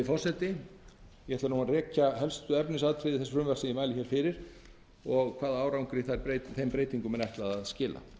rekja helstu efnisatriði frumvarpsins sem ég mæli hér fyrir og hvaða árangri breytingarnar eiga að skila hlutabætur